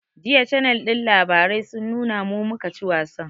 Jiya cannel ɗin labarai sun nuna mu, mu ka ci wasan